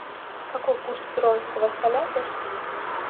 какой курс перуанского соля в россии